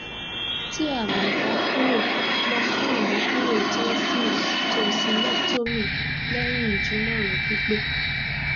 tí àmì ò bá kúrò lọ fún ìmúkúrò tensils tonsilectomy lẹ́yìn ìjímọ̀ràn pípé